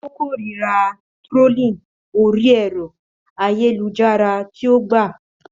Ó kórìíra trolling orí ẹ̀rọ ayélujára tí ó gbà.